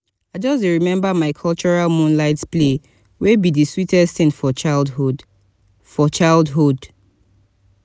i just dey remember my cultural moonlight play wey be di sweetest ting for childhood. for childhood.